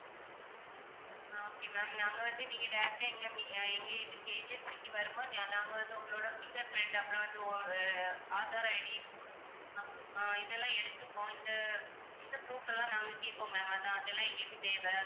ஆஹ் okay ma'am நாங்க வந்து நீங்க direct ஆ எங்க மி~ அஹ் எங்க இதுக்கு agency க்கு வரும்போது நா~ நாங்க வந்து உங்களோட fingerprint அப்புறம் வந்து ஒரு ஆதார் ID அஹ் ஆஹ் இதெல்லாம் எடுத்துப்போம் இந்த இந்த proof எல்லாம் நாங்க கேட்போம் ma'am அதான் அதெல்லாம் எங்களுக்குத் தேவை.